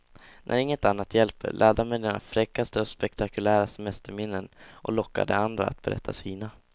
När inget annat hjälper, ladda med dina fräckaste och mest spektakulära semesterminnen och locka de andra att berätta sina.